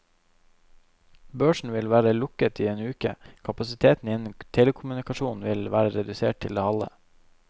Børsen vil være lukket i en uke, kapasiteten innen telekommunikasjon vil være redusert til det halve.